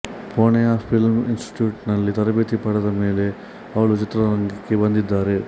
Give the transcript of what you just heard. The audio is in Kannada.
ಪೂನೆಯ ಫಿಲ್ಮ್ ಇನ್ಸ್ಟಿಟ್ಯೂಟ್ನಲ್ಲಿ ತರಬೇತಿ ಪಡೆದಿದ್ದಮೇಲೆ ಅವಳು ಚಿತ್ರರಂಗಕ್ಕೆ ಬಂದಿದ್ದಾರೆ